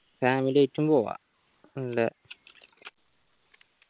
family ആയിട്ടും പോകാം